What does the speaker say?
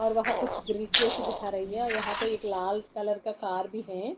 और वहां कुछ ब्रिज जैसी दिखा रही है यहां पे एक लाल कलर का कार भी है।